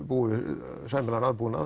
búi við sæmilegan aðbúnað